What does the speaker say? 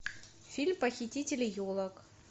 фильм похитители елок